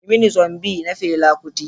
Yi mini "Zombie" na Fela Kuti.